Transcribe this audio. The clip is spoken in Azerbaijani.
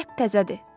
Qətd təzədir.